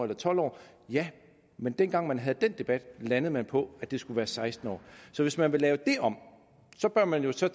tolv år men dengang man havde den debat landede man på at det skulle være seksten år så hvis man vil lave det om bør man jo så